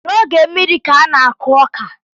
N’oge mmiri ka a n-akụ ọka